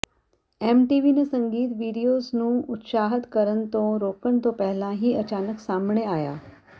MTV ਨੇ ਸੰਗੀਤ videos ਨੂੰ ਉਤਸ਼ਾਹਤ ਕਰਨ ਤੋਂ ਰੋਕਣ ਤੋਂ ਪਹਿਲਾਂ ਹੀ ਅਚਾਨਕ ਸਾਹਮਣੇ ਆਇਆ